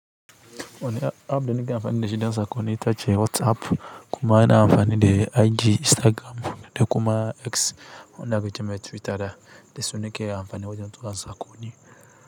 Ne app da nake amfani da shi don saƙonni ita ce WhatsApp, kuma yana amfani da IG Instagram da kuma X wanda aka ce mai Twitter da su nake amfani wajen tura saƙonni.